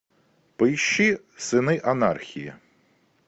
поищи сыны анархии